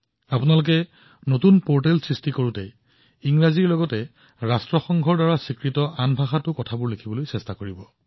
আপুনি অনলাইনত যিকোনো পৰ্টেল সৃষ্টি কৰক আপুনি যিকোনো সমল সৃষ্টি কৰক ৰাষ্ট্ৰসংঘৰ দ্বাৰা স্বীকৃত সকলো ভাষাতে ইয়াক সৃষ্টি কৰিবলৈ চেষ্টা কৰক